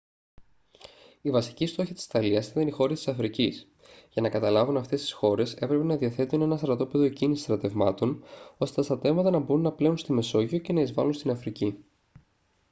οι βασικοί στόχοι της ιταλίας ήταν οι χώρες της αφρικής για να καταλάβουν αυτές τις χώρες έπρεπε να διαθέτουν ένα στρατόπεδο εκκίνησης στρατευμάτων ώστε τα στρατεύματα να μπορούν να πλέουν στη μεσόγειο και να εισβάλουν στην αφρική